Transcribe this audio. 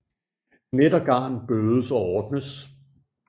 Net og garn bødes og ordnes